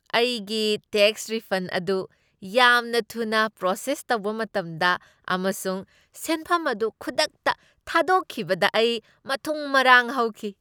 ꯑꯩꯒꯤ tax refund ꯑꯗꯨ ꯌꯥꯝꯅ ꯊꯨꯅ ꯄ꯭ꯔꯣꯁꯦꯁ ꯇꯧꯕ ꯃꯇꯝꯗ, ꯑꯃꯁꯨꯡ ꯁꯦꯟꯐꯝ ꯑꯗꯨ ꯈꯨꯗꯛꯇ ꯊꯥꯗꯣꯛꯈꯤꯕꯗ ꯑꯩ ꯃꯊꯨꯝ ꯃꯔꯥꯡ ꯍꯧꯈꯤ ꯫